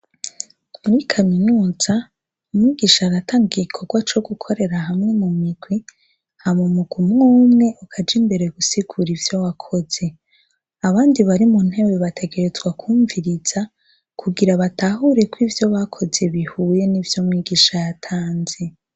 Muri kaminuza umwigisha aratanga igikorwa co gukorera hamwe mu migwi, hama umugwi umw'umwe ukaja imbere gusigura ivyo wakoze. Abandi bari mu ntebe bategereza kwumviriza kugira batahure ko ivyo bakoze bihuye nivyo umwigisha yatanze.